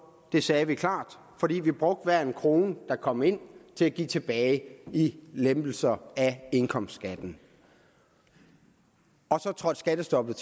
det sagde vi klart fordi vi brugte hver en krone der kom ind til at give tilbage i lempelser af indkomstskatten og så trådte skattestoppet